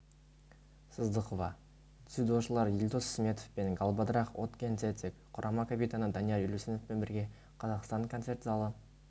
сыздықова дзюдошылар елдос сметов пен галбадрах отгонцэцэг құрама капитаны данияр елеусіновпен бірге қазақстан концерт залы